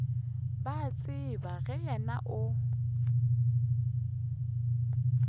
ba tseba ge wena o